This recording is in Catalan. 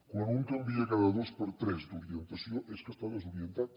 quan un canvia cada dos per tres d’orientació és que està desorientat